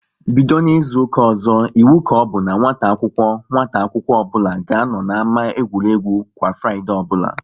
Bido n'izuka ọzọ, iwu ka ọbụ n'nwata akwụkwọ nwata akwụkwọ ọbụla ga anọ n'ámá egwuregwu kwa Fraịdee ọbụla!